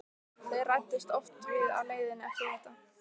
Þeir ræddust oft við á leiðinni eftir þetta.